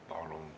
Palun!